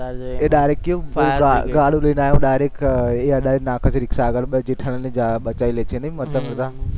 એ direct કેવું ગાળ દઈને આયો direct રીક્ષા આગળ જેઠાલાલને બચાઈ લે છે ને મતલબ બધા